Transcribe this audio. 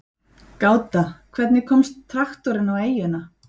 Gáta: Hvernig komst traktorinn á eyjuna?